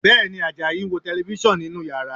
Bẹ́ẹ̀ni, Àjàyí ń wo Tẹlifísàn nínú yàrá